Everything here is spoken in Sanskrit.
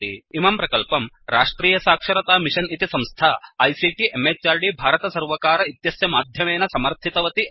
इमं प्रकल्पं राष्ट्रियसाक्षरतामिषन् इति संस्था आईसीटी म्हृद् भारतसर्वकार इत्यस्य माध्यमेन समर्थितवती अस्ति